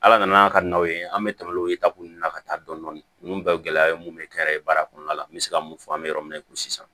Ala nana ka na o ye an bɛ tɛmɛ o taku ninnu na ka taa dɔndɔni nunnu bɛɛ ye gɛlɛya ye mun be kɛ baara kɔnɔna la n be se ka mun fɔ an be yɔrɔ min na i ko sisan